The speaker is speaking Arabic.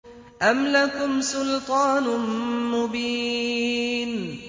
أَمْ لَكُمْ سُلْطَانٌ مُّبِينٌ